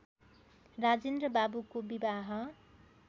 राजेन्द्र बाबूको विवाह